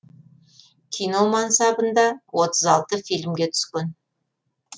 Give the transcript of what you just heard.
кино мансабында отыз алты фильмге түскен